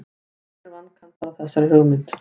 Það eru nokkrir vankantar á þessari hugmynd.